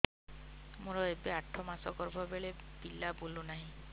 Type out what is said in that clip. ମୋର ଏବେ ଆଠ ମାସ ଗର୍ଭ ବେଳେ ବେଳେ ପିଲା ବୁଲୁ ନାହିଁ